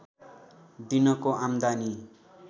दिनको आम्दानी